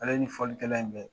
Ale ni folilikɛla in bɛ